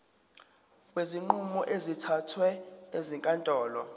kwezinqumo ezithathwe ezinkantolo